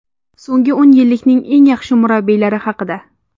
So‘nggi o‘n yillikning eng yaxshi murabbiylari haqida .